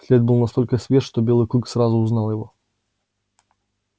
след был настолько свеж что белый клык сразу узнал его